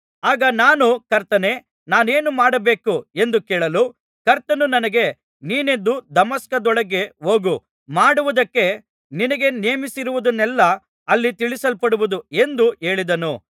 ಆಗ ನಾನು ಕರ್ತನೇ ನಾನೇನು ಮಾಡಬೇಕು ಎಂದು ಕೇಳಲು ಕರ್ತನು ನನಗೆ ನೀನೆದ್ದು ದಮಸ್ಕದೊಳಕ್ಕೆ ಹೋಗು ಮಾಡುವುದಕ್ಕೆ ನಿನಗೆ ನೇಮಿಸಿರುವುದನ್ನೆಲ್ಲಾ ಅಲ್ಲಿ ತಿಳಿಸಲ್ಪಡುವುದು ಎಂದು ಹೇಳಿದನು